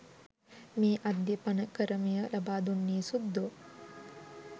මේ අද්යපනකරමය ලබාදුන්නේ සුද්දෝ.